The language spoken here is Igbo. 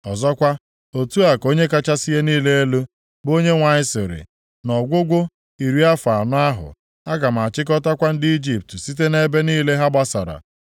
“ ‘Ọzọkwa, Otu a ka Onye kachasị ihe niile elu, bụ Onyenwe anyị sịrị, nʼọgwụgwụ iri afọ anọ ahụ, aga m achịkọtakwa ndị Ijipt site nʼebe niile ha gbasara.